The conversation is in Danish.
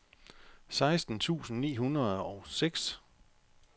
seksten tusind ni hundrede og seks